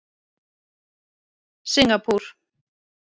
Singapúr